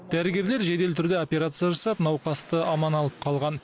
дәрігерлер жедел түрде операция жасап науқасты аман алып қалған